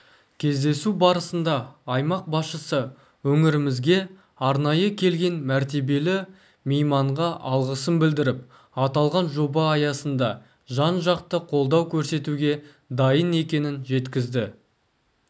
кездесу барысында аймақ басшысы өңірімізге арнайы келген мәртебелі мейманға алғысын білдіріп аталған жоба аясында жан-жақты қолдау көрсетуге дайын екенін жеткізді